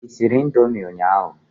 I sịrị noodles ụnyaahụ?